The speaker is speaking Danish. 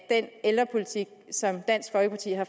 ældrepolitik som dansk folkeparti har